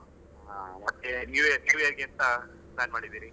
ಹ ಮತ್ತೆ new year, new year ಗೆ ಎಂತ plan ಮಾಡಿದ್ಧೀರಿ?